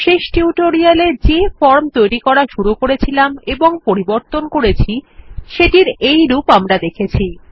শেষ টিউটোরিয়ালে যে ফর্ম তৈরী করা শুরু করেছিলাম এবং পরিবর্তন করেছি সেটির এই রূপ আমরা দেখেছি